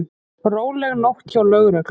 Róleg nótt hjá lögreglu